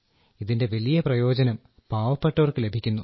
ഇതിന്റെ വലിയ പ്രയോജനം പാവപ്പെട്ടവർക്കു ലഭിക്കുന്നു